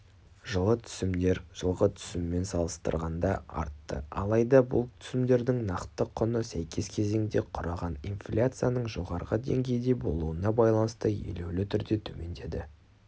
жылы түсімдер жылғы түсіммен салыстырғанда артты алайда бұл түсімдердің нақты құны сәйкес кезеңде құраған инфляцияның жоғары деңгейде болуына байланысты елеулі түрде төмендеді